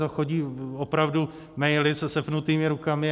To chodí opravdu maily se sepnutýma rukama.